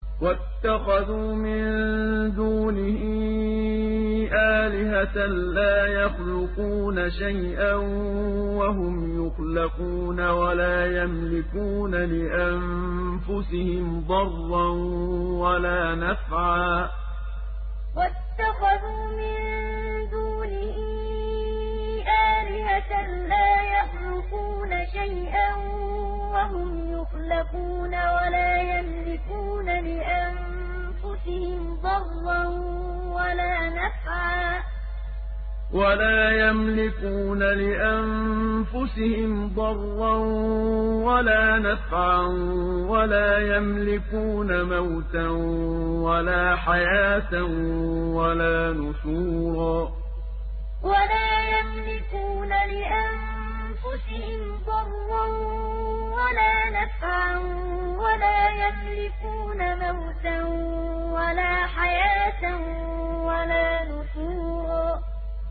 وَاتَّخَذُوا مِن دُونِهِ آلِهَةً لَّا يَخْلُقُونَ شَيْئًا وَهُمْ يُخْلَقُونَ وَلَا يَمْلِكُونَ لِأَنفُسِهِمْ ضَرًّا وَلَا نَفْعًا وَلَا يَمْلِكُونَ مَوْتًا وَلَا حَيَاةً وَلَا نُشُورًا وَاتَّخَذُوا مِن دُونِهِ آلِهَةً لَّا يَخْلُقُونَ شَيْئًا وَهُمْ يُخْلَقُونَ وَلَا يَمْلِكُونَ لِأَنفُسِهِمْ ضَرًّا وَلَا نَفْعًا وَلَا يَمْلِكُونَ مَوْتًا وَلَا حَيَاةً وَلَا نُشُورًا